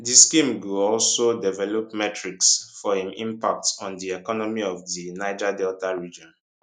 di scheme go also develop metrics for im impact on di economy of di niger delta region